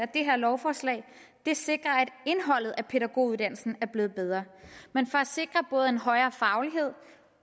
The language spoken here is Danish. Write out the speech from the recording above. det her lovforslag sikrer at indholdet af pædagoguddannelsen er blevet bedre men for at sikre både en højere faglighed